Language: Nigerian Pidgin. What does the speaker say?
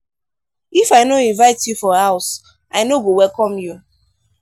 if i no invite you for my house i no go welcome you.